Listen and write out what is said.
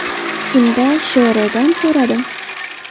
Shunda Sh.R.dan so‘radim.